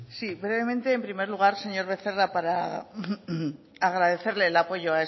sí brevemente en primer lugar señor becerra para agradecerle el apoyo